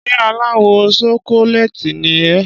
Ṣé aláwọ̀ ṣokoléètì ni ẹ́?